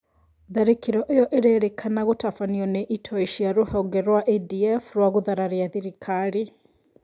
Tharĩkĩro ĩyo ĩrerĩkana gũtabanio nĩ itoi cia rũhonge rwa ADF rwa gũthararia thirikari